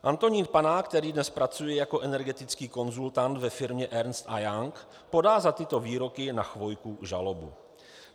Antonín Panák, který dnes pracuje jako energetický konzultant ve firmě Ernst & Young, podá za tyto výroky na Chvojku žalobu.